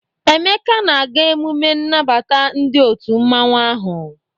Emeka na-aga emume nnabata ndi otu mmanwu ahu.